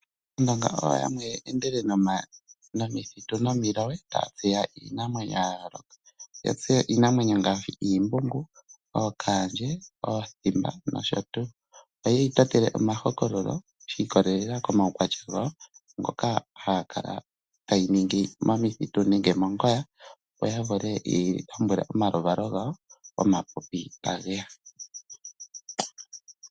Aandonga oyo yamwe ye endele momithitu nomiloye taya tseya iinamwenyo ya yooloka. Oya tseya iinamwenyo ngaashi: iimbungu, ookaandje, oothimba nosho tuu. Oye yi totele omahokololo shi ikolelela komaukwatya gawo ngoka ya kala hayi ningi momithitu nenge mongoya, opo ya vule ye yi lombwele omaluvalo gawo, omapipi tage ya.